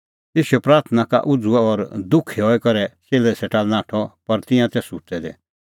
ईशू प्राथणां का उझ़ुअ और दुखी हई करै च़ेल्लै सेटा लै नाठअ पर तिंयां तै सुत्तै दै तेऊ बोलअ तिन्नां लै तम्हैं किल्है आसा सुत्तै दै